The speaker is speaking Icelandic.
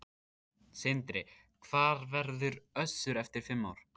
Sindri: Hvar verður Össur eftir fimm ár?